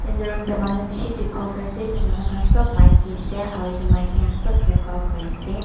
etu room dae manu bishi dikipo pari asae etu manu khan sob maiki asae aro etu maiki khan sob yoga kuri asae.